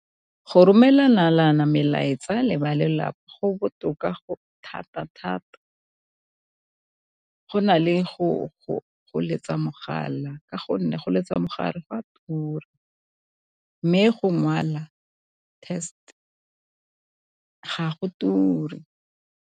Go romelana melaetsa le ba lelapa go botoka thata-thata go na le go letsa mogala, ka gonne go letsa mo gare go a tura mme go ngwala test ga go ture.